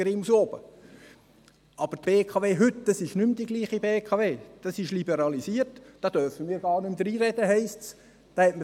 Die BKW heute ist aber nicht mehr dieselbe BKW, sie ist liberalisiert, da dürfen wir gar nicht mehr dreinreden, heisst es.